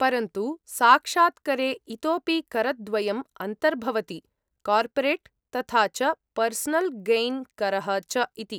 परन्तु साक्षात्करे इतोपि करद्वयम् अन्तर्भवति; कार्पोरेट् तथा च पर्सनल् गैन् करः च इति।